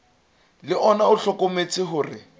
le ona o hlokometse hore